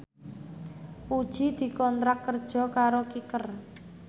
Puji dikontrak kerja karo Kicker